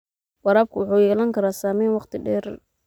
Waraabku wuxuu yeelan karaa saameyn waqti dheer ah.